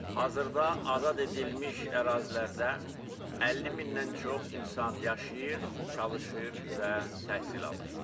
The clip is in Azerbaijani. Hazırda azad edilmiş ərazilərdə 50 mindən çox insan yaşayır, çalışır və təhsil alır.